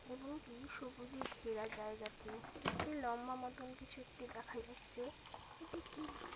এবংএই সবুজে ঘেরা জায়গাটিও একটি লম্বা মতন কিছু একটি দেখাই যাচ্ছে এটি কি বোঝা--